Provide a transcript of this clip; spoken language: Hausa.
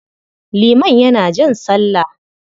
Liman yana jan sallah.